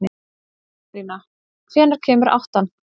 Pétrína, hvenær kemur áttan?